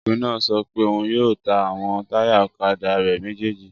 Ọkùnrin náà sọ pé òun yóò ta àwọn táyà ọ̀kadà rẹ̀ méjèjì